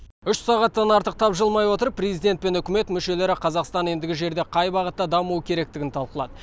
үш сағаттан артық тапжылмай отырып президент пен үкімет мүшелері қазақстан ендігі жерде қай бағытта дамуы керектігін талқылады